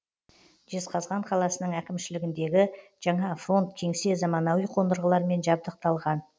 жезқазған қаласының әкімшілігіндегі жаңа фронт кеңсе заманауи қондырғылармен жабдықталған